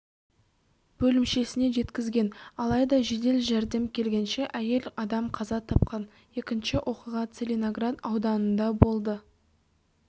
бөлімшесіне жеткізген алайда жедел жәрдем келгенше әйел адам қаза тапқан екінші оқиға целиноград ауданында болды